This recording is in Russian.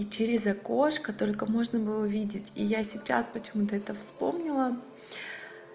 и через окошко только можно было увидеть и я сейчас почему-то это вспомнила